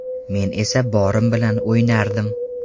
Men esa borim bilan o‘ynardim.